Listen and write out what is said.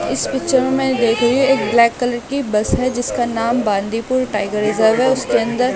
इस पिक्चर में मैं देख रही हूं एक ब्लैक कलर की बस है जिसका नाम बाल्दीपुर टाइगर रिजर्व है उसके अंदर--